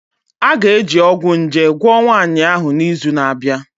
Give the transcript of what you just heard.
A ga-eji ọgwụ nje gwọọ nwanyị ahụ n'izu na-abịa